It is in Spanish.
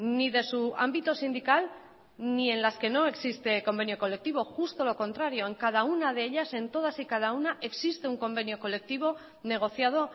ni de su ámbito sindical ni en las que no existe convenio colectivo justo lo contrario en cada una de ellas en todas y cada una existe un convenio colectivo negociado